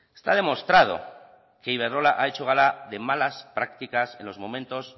está demostrado que iberdrola ha hecho gala de malas prácticas en los momentos